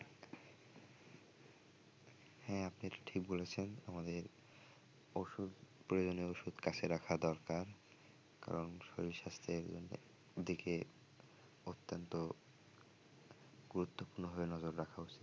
হ্যাঁ আপনি এটা ঠিক বলেছেন আমাদের ওষুধ প্রয়োজনীয় ঔষধ কাছে রাখা দরকার কারণ শরীর স্বাস্থ্যের জন্য দিকে অত্যন্ত গুরুত্বপূর্ণ ভাবে নজর রাখা উচিত।